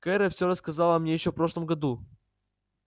кэра всё рассказала мне ещё в прошлом году